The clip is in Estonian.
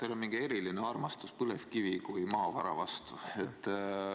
Teil on mingi eriline armastus põlevkivi kui maavara vastu.